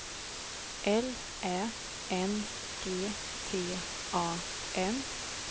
L Ä N G T A N